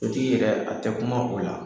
Dutigi yɛrɛ, a tɛ kuma o la.